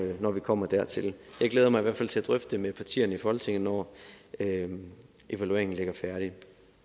når vi kommer dertil jeg glæder mig i hvert fald til at drøfte det med partierne i folketinget når evalueringen ligger færdig